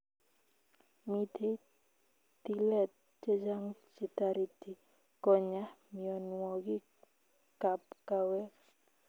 Mitei tilet chechang chetariti konya mionwogik ap kawek